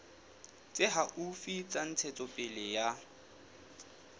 tse haufi tsa ntshetsopele ya